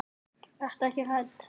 Vertu ekki hrædd.